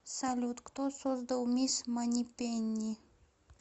салют кто создал мисс манипенни